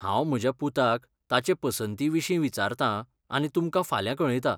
हांव म्हज्या पुताक ताचे पसंतीविशीं विचारतां आनी तुमकां फाल्यां कळयतां.